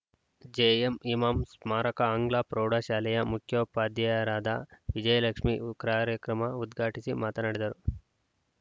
JM Imam ಸ್ಮಾರಕ ಆಂಗ್ಲ ಪ್ರೌಢಶಾಲೆಯ ಮುಖ್ಯೋಪಾಧ್ಯಾಯರಾದ ವಿಜಯಲಕ್ಷ್ಮೀ ವು ಕಾರ್ಯಕ್ರಮ ಉದ್ಘಾಟಿಸಿ ಮಾತನಾಡಿದರು